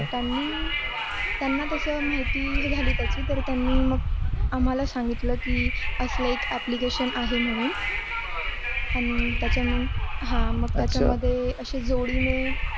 त्यांनी, त्यांना त्याची माहिती झाली त्याची तर त्यांनी मग, त्यांनी आम्हाला सांगितल की असली एक application आहे म्हणू. आणि त्याचा मग हा मग त्याचा मध्ये असे जोडी ने